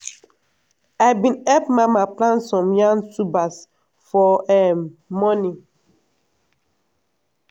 i bin help mama plant some yam tubers for um morning.